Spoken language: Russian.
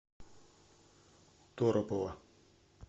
торопова